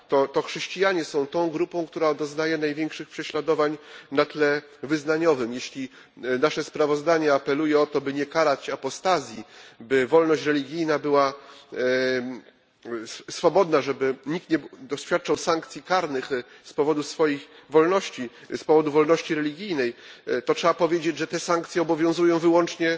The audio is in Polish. To chrześcijanie są grupą, która doznaje największych prześladowań na tle wyznaniowym. Jeśli nasze sprawozdanie apeluje o to, by nie karać apostazji, by szanować wolność wyznania, by nikt nie doświadczał sankcji karnych z powodu swoich wolności, z powodu wolności religijnej, to trzeba powiedzieć, że sankcje te obowiązują wyłącznie